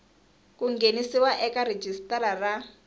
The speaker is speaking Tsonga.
ku nghenisiwa eka rhijisitara ra